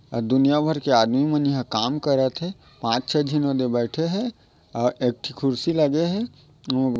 दुनिया भर के आदमी मन यहा काम करत है पांच छे झने ऊदे बैठे हैं और एकठी कुर्सी लगे हैं उ--